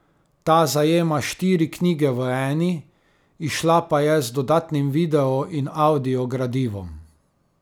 Ta zajema štiri knjige v eni, izšla pa je z dodatnim video in avdio gradivom.